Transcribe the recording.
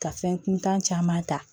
Ka fɛn kuntan caman ta